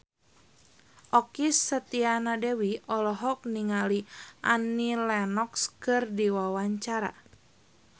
Okky Setiana Dewi olohok ningali Annie Lenox keur diwawancara